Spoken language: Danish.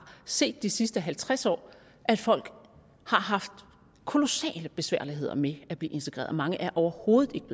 set de sidste halvtreds år at folk har haft kolossale besværligheder med at blive integreret mange er overhovedet ikke